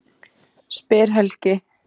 spyr Helgi.